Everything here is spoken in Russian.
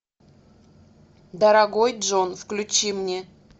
дорогой джон включи мне